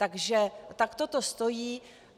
Takže takto to stojí.